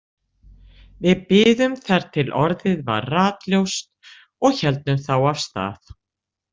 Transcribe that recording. Við biðum þar til orðið var ratljóst og héldum þá af stað.